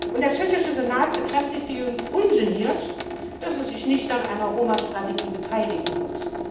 Und der Tschechische Senat bekräftigte jüngst ungeniert, dass er sich nicht an einer Roma Strategie beteiligen wird.